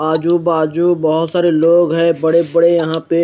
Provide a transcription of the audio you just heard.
आजू बाजू बहोत सारे लोग है बड़े बड़े यहा पे--